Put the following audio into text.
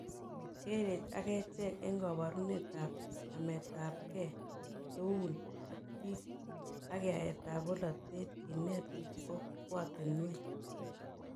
Kerech achek en kabarunet ab nametabgei eun ak biik ak yaet ab polatet kinet kokwatinwek